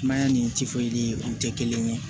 Mayani o tɛ kelen ye